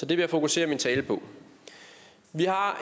vil jeg fokusere min tale på vi har